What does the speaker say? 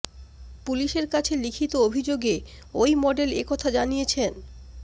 পুলিশের কাছে লিখিত অভিযোগে ওই মডেল এ কথা জানিয়েছেন